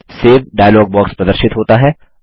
save dialog box प्रदर्शित होता है